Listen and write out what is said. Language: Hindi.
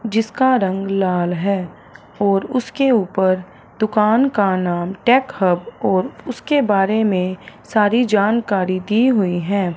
जिसका रंग लाल है और उसके ऊपर दुकान का नाम टेक हब और उसके बारे में सारी जानकारी दी गई हैं।